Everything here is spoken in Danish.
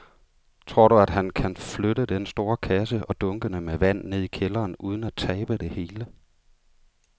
Tror du, at han kan flytte den store kasse og dunkene med vand ned i kælderen uden at tabe det hele?